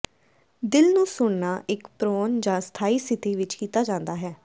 ਦਿਲ ਨੂੰ ਸੁਣਨਾ ਇੱਕ ਪ੍ਰੋਨ ਜਾਂ ਸਥਾਈ ਸਥਿਤੀ ਵਿੱਚ ਕੀਤਾ ਜਾਂਦਾ ਹੈ